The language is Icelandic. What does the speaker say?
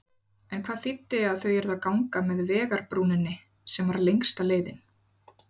En það þýddi að þau yrðu að ganga með vegarbrúninni, sem var lengsta leiðin.